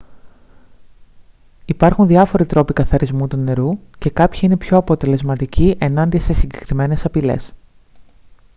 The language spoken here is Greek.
υπάρχουν διάφοροι τρόποι καθαρισμού του νερού και κάποιοι είναι πιο αποτελεσματικοί ενάντια σε συγκεκριμένες απειλές